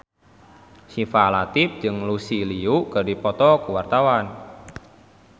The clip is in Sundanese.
Syifa Latief jeung Lucy Liu keur dipoto ku wartawan